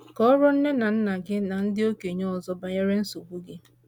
Kọọrọ nne na Kọọrọ nne na nna gị na ndị okenye ọzọ banyere nsogbu gị.